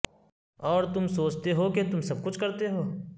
اور تم سوچتے ہو کہ تم سب کچھ کرتے ہو